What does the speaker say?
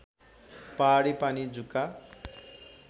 पहाडी पानी जुका